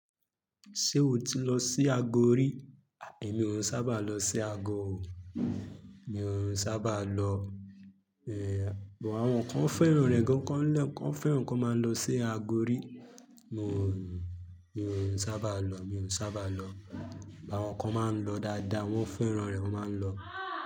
Ṣé o ti lọ sí Agori? Èmi òún sábà lọ sí ago o. Mi òún sábà lọ. Èè bo àwọn kan fẹ́ràn rẹ̀ gan kán lẹ̀, kan fẹ́ràn kí wọ́n máa ń lọ sí Agori. Mi òún, mi òún sábà lọ, mi òún sábà lọ. Àwọn kan máa ń lọ dáadáa, wọ́n fẹ́ràn rẹ̀, wọ́n máa ń lọ.